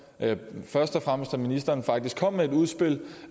først og fremmest at ministeren faktisk kom med et udspil